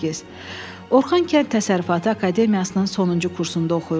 Orxan Kənd Təsərrüfatı Akademiyasının sonuncu kursunda oxuyurdu.